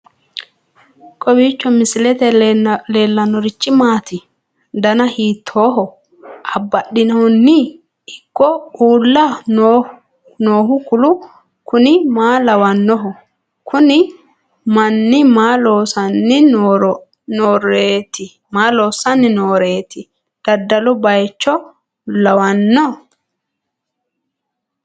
kowiicho misilete leellanorichi maati ? dana hiittooho ?abadhhenni ikko uulla noohu kuulu kuni maa lawannoho? kuni manni maa lossanni nooreeti dadalu baycho lawanno